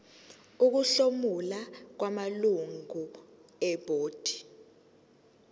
ukuhlomula kwamalungu ebhodi